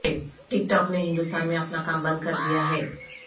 ٹک talk نے ہندوستان میں اپنا کام بند کردیا ہے